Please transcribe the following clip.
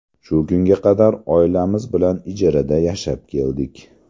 Shu kunga qadar oilamiz bilan ijarada yashab keldik.